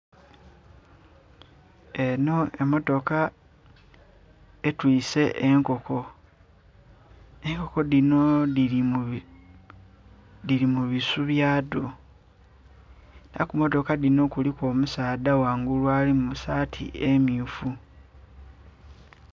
Enho emotoka etwise enkoko enkoko dhino dhili mu bisu bya dho era ku motoka dhino kuliku omusaadha ghangulu ali mu saati emyufu.